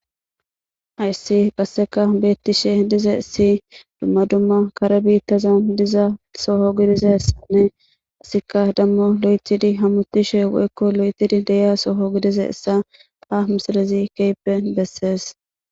Hassi qasseka bettishe dizzayssi dumma dumma kare bittazan diiza soho giidizayssane hessika demo bettidi hamuttishe woykko lo'ettidi deiyya soho giddizayssa hayssa ha missilezi kehippe besses.